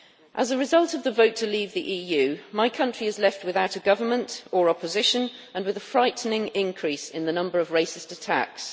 As a result of the vote to leave the EU, my country is left without a government or opposition and with a frightening increase in the number of racist attacks.